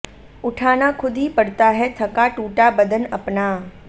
उठाना खुद ही पड़ता है थका टुटा बदन अपना